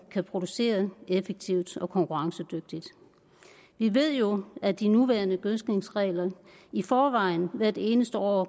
kan producere effektivt og konkurrencedygtigt vi ved jo at de nuværende gødskningsregler i forvejen hvert eneste år